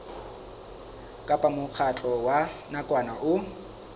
kapa mokgatlo wa nakwana o